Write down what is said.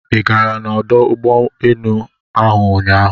i gara na ọdụ ụgbọ enu ahụ ụnyaahụ?